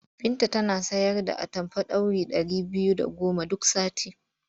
Binta tana sayar da atamfa ɗauri ɗari biyu da goma duk sati.